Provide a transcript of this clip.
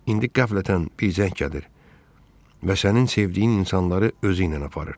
İndi qəflətən bir zəng gəlir və sənin sevdiyin insanları özüylə aparır.